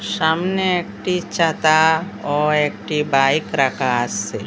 সামনে একটি ছাতা ও একটি বাইক রাখা আসে ।